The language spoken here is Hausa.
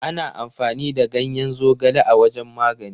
Ana amfani da ganyen zogale wajen magani.